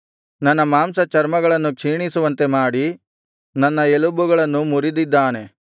ನನ್ನ ಮಾಂಸಚರ್ಮಗಳನ್ನು ಕ್ಷೀಣಿಸುವಂತೆ ಮಾಡಿ ನನ್ನ ಎಲುಬುಗಳನ್ನು ಮುರಿದಿದ್ದಾನೆ